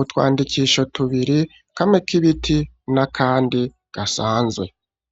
utwandikisho tubiri kamwe kibiti n'akandi gasanzwe.